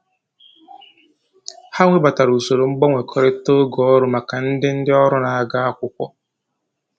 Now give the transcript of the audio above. Ha webatara usoro mgbanwekọrịta oge ọrụ maka ndị ndị ọrụ na-aga akwụkwọ